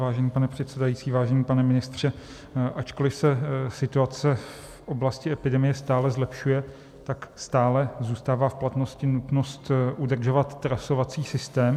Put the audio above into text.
Vážený pane předsedající, vážený pane ministře, ačkoliv se situace v oblasti epidemie stále zlepšuje, tak stále zůstává v platnosti nutnost udržovat trasovací systém.